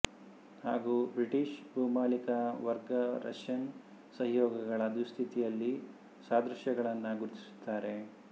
ಹಾಗೂ ಬ್ರಿಟಿಶ್ ಭೂಮಾಲೀಕ ವರ್ಗ ರಷ್ಯನ್ ಸಹಯೋಗಿಗಳ ದುಸ್ಥಿತಿಯಲ್ಲಿ ಸಾದೃಶ್ಯಗಳನ್ನು ಗುರುತಿಸುತ್ತಾರೆ